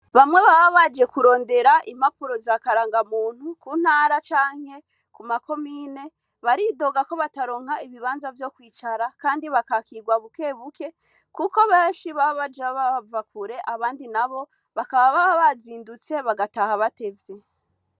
Bamwe baba baje kurondera impapuro za karangamuntu ku ntara canke ku makomine, baridoga ko bataronka ibibanza vyo kwicara kandi bakakirwa bukebuke, kuko benshi baba baje bava kure, abandi nabo , bakaba baba bazindutse, bagataha batevye.